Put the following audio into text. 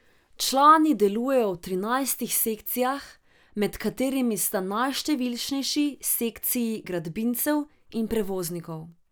Člani delujejo v trinajstih sekcijah, med katerimi sta najštevilčnejši sekciji gradbincev in prevoznikov.